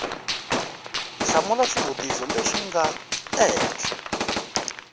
hlamula swivutiso leswi nga ehansi